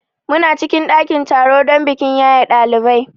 Muna cikin ɗakin taro don bikin yaye ɗalibai.